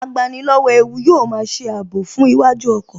Agbani lọ́wọ́ ewu yóò máa ṣe ààbò fún iwájú ọkọ̀